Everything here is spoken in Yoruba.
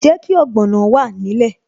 Jẹ́ kí ogbono wà nílẹ̀